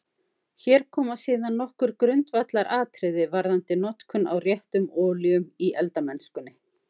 Hér koma síðan nokkur grundvallaratriði varðandi notkun á réttum olíum í eldamennskunni.